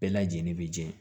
Bɛɛ lajɛlen bɛ jɛ